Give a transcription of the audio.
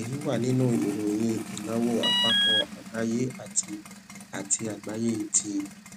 èyí wà nínú ìròyìn ìnáwó àpapọ àgbáyé àti àti àgbáyé ti